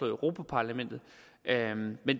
europa parlamentet